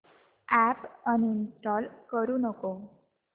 app uninstall करू नको